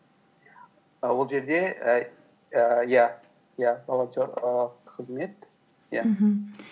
і ол жерде ііі иә иә волонтер ііі қызмет иә мхм